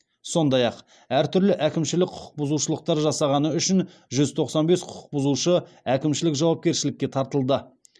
сондай ақ әртүрлі әкімшілік құқық бұзушылықтар жасағаны үшін жүз тоқсан бес құқықбұзушы әкімшілік жауапкершілікке тартылды